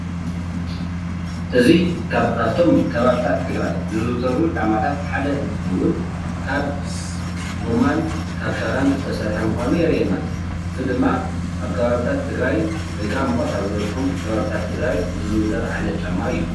እዚ ካብ ካብቶም ከባቢታት ትግራይ ዝዝውተሩ ጫማታት ሓደ እንትኸዉን ካብ ጎማን ካብ ሻራን ዝተሰረሐ ምኻኑ የርእየና። እዚ ድማ ኣብ ከባቢታት ትግራይ ወይ ከዓ ሙቐት ኣብ ዝበዘሖም ከባቢታት ትግራይ ዝዝውተር ዓይነት ጫማ እዩ።